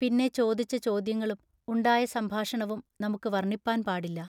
പിന്നെ ചോദിച്ച ചോദ്യങ്ങളും ഉണ്ടായ സംഭാഷണവും നമുക്കു വർണ്ണിപ്പാൻ പാടില്ല.